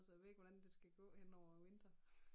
Så jeg ved ikke hvordan det skal gå henover æ vinter